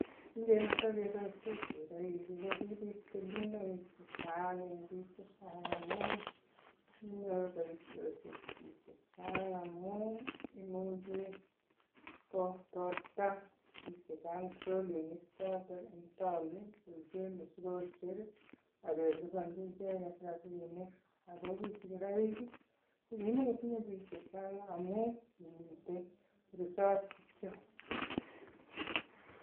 Kingemete mot ketokeboisen sigiroikko kibit kelchenoik chechang amun kinyor boisiosiek biik chechang amun imuche kotorta biik chechang trolinik chotoen taon koiben mosigosiekak kelipanji icheget rabinik. Ago ki sigiroik ko kimokotinye biik chechang amun kimiten resob kityo.